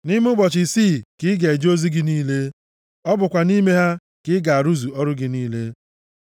Nʼime ụbọchị isii ka ị ga-eje ozi gị niile. Ọ bụkwa nʼime ha ka ị ga-arụzu ọrụ gị niile,